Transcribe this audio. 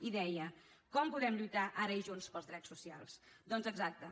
i deia com podem lluitar ara i junts pels drets socials doncs exacte